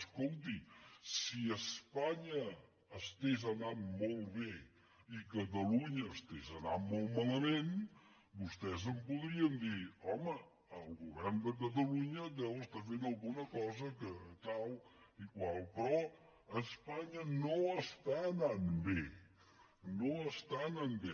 escolti si espanya anés molt bé i catalunya anés molt malament vostès em podrien dir home el govern de catalunya deu estar fent alguna cosa que tal i qual però espanya no va bé no va bé